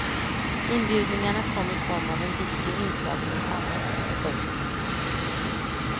Inbjudningarna kom i form av en video inslagen i sammet. punkt